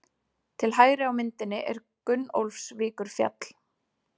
Til hægri á myndinni er Gunnólfsvíkurfjall.